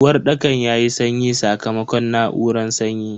Uwarɗakan yayi sanyi sakamakon na'uran sanyi.